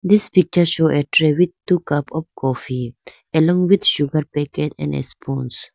this picture show a tray with two cup of coffee along with sugar packet and spons .